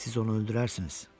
Siz onu öldürərsiniz.